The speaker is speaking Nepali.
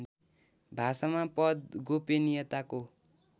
भाषामा पद गोपनियताको